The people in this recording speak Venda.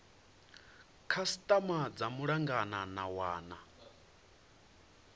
khasitama dza malugana na wana